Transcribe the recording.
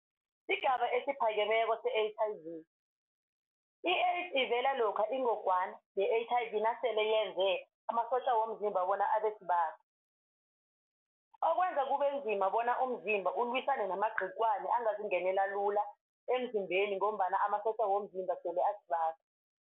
Sigaba esiphakemeko se-H_I_V, i-AIDS ivela lokha ingogwana ye-H_I_V nasele yenze amasotja womzimba bona abesibaga. Okwenza kubenzima bona umzimba ukulwisane namagciwane angazingenela lula emzimbeni ngombana amasotja womzimba sele asibaga.